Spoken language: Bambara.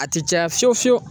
A ti caya fiyewu fiyewu